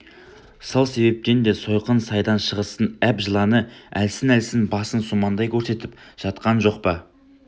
сол себептен де сойқын сайдан шығыстың әп жыланы әлсін-әлсін басын сумаңдай көрсетіп жатқан жоқ па